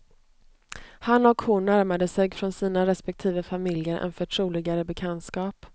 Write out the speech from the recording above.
Han och hon närmade sig från sina respektive familjer en förtroligare bekantskap.